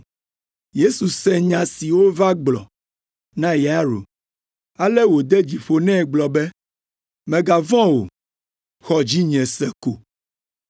Yesu se nya si wova gblɔ na Yairo, ale wòde dzi ƒo nɛ gblɔ be, “Mègavɔ̃ o, xɔ dzinye se ko.”